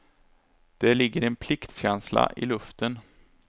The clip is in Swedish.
Det ligger en pliktkänsla i luften.